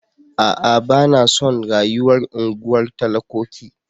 A'a! Ba na son rayuwar unguwar talakoki.